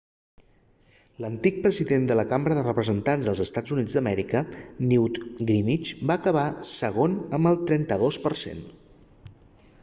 l'antic president de la cambra dels representats dels eua newt gingrich va acabar segon amb el 32 per cent